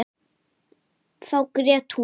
Þá grét hún.